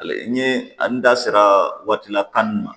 N ye n da sera waati la tan ni ma